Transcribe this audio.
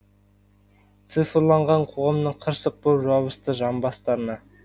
цифрланған қоғамың қырсық боп жабысты жамбастарына